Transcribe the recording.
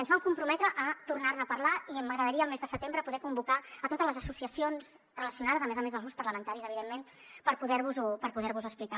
i ens vam comprometre a tornar ne a parlar i m’agradaria al mes de setembre poder convocar a totes les associacions relacionades a més a més dels grups parlamentaris evidentment per poder vos ho explicar